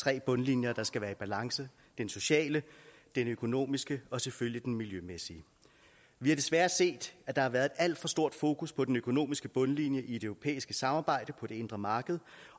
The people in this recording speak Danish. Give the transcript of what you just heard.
tre bundlinjer der skal være i balance den sociale den økonomiske og selvfølgelig den miljømæssige vi har desværre set at der har været et alt for stort fokus på den økonomiske bundlinje i det europæiske samarbejde på det indre marked